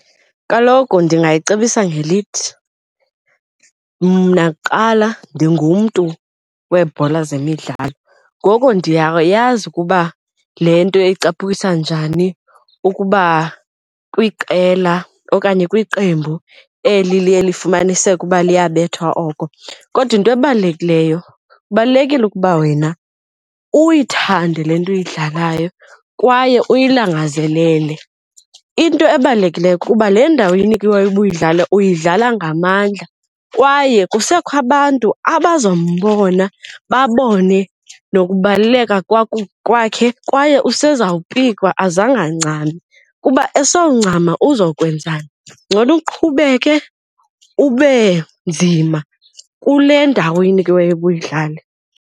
Kaloku ndingayicebisa ngelithi, mna kuqala ndingumntu weebhola zemidlalo ngoko ndiyayazi ukuba le nto ecaphukisa njani ukuba kwiqela okanye kwiqembu eli liye lifumanisike uba liyabethwa oko kodwa into ebalulekileyo kubalulekile ukuba wena uyithande le nto uyidlalayo kwaye uyilangazelele. Into ebalulekileyo kukuba le ndawo uyinikiweyo uba uyidlale uyidlala ngamandla kwaye kusekho abantu abazombona babone nokubaluleka kwakho kwakhe kwaye usezawupikwa azangancami. Kuba esoncama uzokwenzani? Ngcono uqhubeke ube nzima kule ndawo uyinikiweyo uba uyidlale.